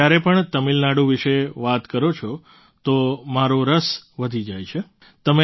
તમે જ્યારે પણ તમિલનાડુ વિશે વાત કરો છો તો મારો રસ વધી જાય છે